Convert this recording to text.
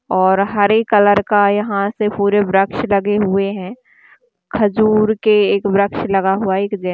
और हरे कलर का यहाँ से पूरे वृक्ष लगे हुए है खजूर के एक वृक्ष लगा हुआ एक जै--